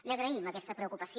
li agraïm aquesta preocupació